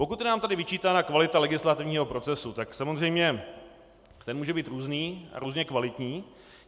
Pokud je nám tady vyčítána kvalita legislativního procesu, tak samozřejmě ten může být různý a různě kvalitní.